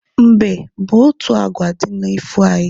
Mbe bụ otu agwa di n'ifo anyị